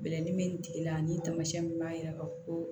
Bɛlɛdimi bɛ nin tigi la ani tamasiyɛn min b'a yira ka fɔ ko